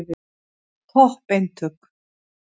Topp eintök.